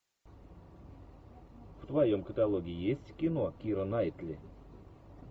в твоем каталоге есть кино кира найтли